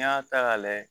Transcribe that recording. N'i y'a ta ka lajɛ